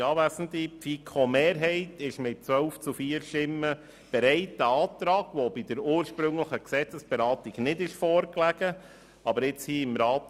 Die FiKo-Mehrheit ist mit 12 zu 4 Stimmen bereit, diesen Antrag zuhanden der zweiten Lesung entgegenzunehmen.